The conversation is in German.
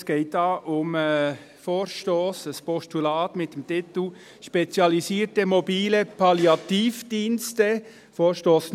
Es geht hier um den Vorstoss P 090-2017, ein Postulat mit dem Titel «Spezialisierte mobile Palliativdienste».